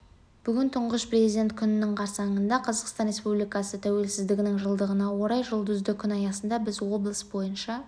бүгін тұңғыш президент күнінің қарсаңында қазақстан республикасы тәуелсіздігінің жылдығына орай жұлдызды күн аясында біз облыс бойынша